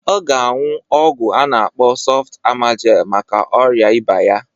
Ọ ga aṅụ ọgwụ a na-akpọ sọft amajel maka ọrịa ịba ya